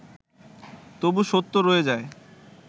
তবু সত্য রয়ে যায়